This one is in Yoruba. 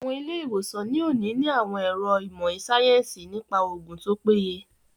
Àwọn ilé-ìwòsàn ní òní ní àwọn àwọn ẹ̀ro ìmọ̀ síáyẹ́nsì nípa oògùn tó péye